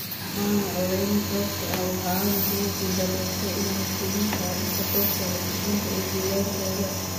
Maanu codayn sababtoo ah waxa aanu kuguul daraystay inanu keenin kaadhadhka goobta codbixinta ee deegaankayaga.